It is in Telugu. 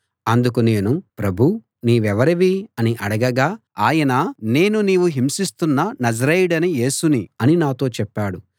అందుకు నేను ప్రభూ నీవెవరివి అని అడగగా ఆయన నేను నీవు హింసిస్తున్న నజరేయుడైన యేసుని అని నాతో చెప్పాడు